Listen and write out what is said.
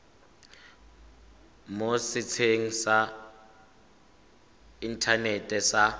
mo setsheng sa inthanete sa